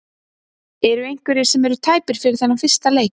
Eru einhverjir sem eru tæpir fyrir þennan fyrsta leik?